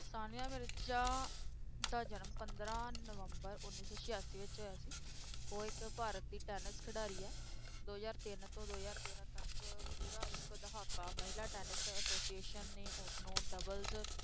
ਸਾਨੀਆ ਮਿਰਜ਼ਾ ਦਾ ਜਨਮ ਪੰਦਰਾਂ ਨਵੰਬਰ ਉੱਨੀ ਸੌ ਸਿਆਸੀ ਵਿੱਚ ਹੋਇਆ ਸੀ, ਉਹ ਇੱਕ ਭਾਰਤ ਦੀ ਟੈਨਿਸ ਖਿਡਾਰੀ ਹੈ, ਦੋ ਹਜ਼ਾਰ ਤਿੰਨ ਤੋਂ ਦੋ ਹਜ਼ਾਰ ਤੇਰਾਂ ਤੱਕ ਪੂਰਾ ਇੱਕ ਦਹਾਕਾ ਮਹਿਲਾ ਟੈਨਿਸ association ਨੇ ਉਸਨੂੰ doubles